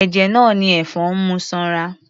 Ẹ̀jẹ̀ náà ni ẹ̀fọn ń mu sanra.